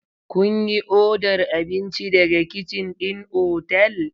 Kun yi odar abinci daga kicin ɗin otal?